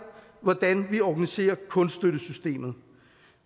hvordan vi organiserer kunststøttesystemet